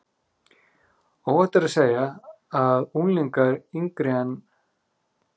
Óhætt er að segja að unglingar yngri en